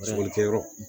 Bolikɛyɔrɔ